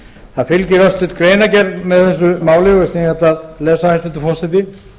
það fylgir örstutt greinargerð með þessu máli sem ég ætla að lesa hæstvirtur forseti